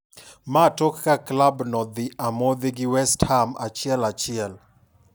maa tok ka klab no dhi amodhi gi West Ham 1-1